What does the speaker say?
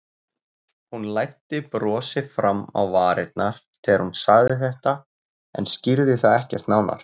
Hún læddi brosi fram á varirnar þegar hún sagði þetta en skýrði það ekkert nánar.